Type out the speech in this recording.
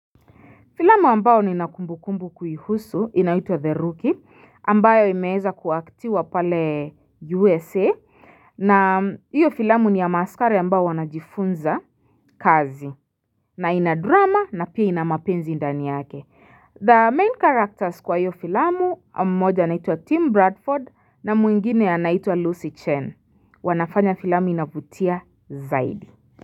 Filamu ambao nina kumbukumbu kuiuhusu inaitwa The Rookie ambayo imeeza kuactiwa pale USA na hiyo filamu ni ya maaskare ambao wanajifunza kazi na ina drama na pia ina mapenzi ndani yake. The main characters kwa hiyo filamu mmoja anaitwa Tim Bradford na mwengine anaitwa Lucy Chen. Wanafanya filamu inavutia zaidi.